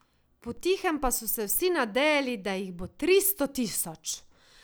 Po tihem pa so se vsi nadejali, da jih bo tristo tisoč.